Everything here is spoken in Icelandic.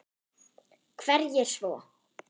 Hverjir svo?